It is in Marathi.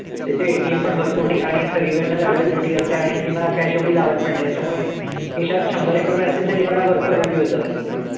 त्याचे ATM पण भरपूर ठिकाणी आहेत. सगळीकडनंच availability असते आणि हल्ली मला cash एवढी लागत पण नाही. त्याच्यामुळे खिशात शंभर एक रुपये असतील तरी मला बरेच दिवस जातात ते.